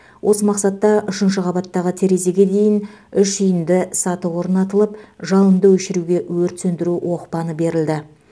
осы мақсатта үшінші қабаттағы терезеге дейін үшиінді саты орнатылып жалынды өшіруге өрт сөндіру оқпаны берілді